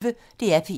DR P1